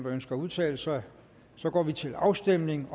ønsker at udtale sig så går vi til afstemning